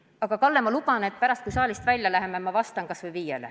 Aga, Kalle, ma luban, et pärast, kui saalist välja läheme, ma vastan kas või viiele.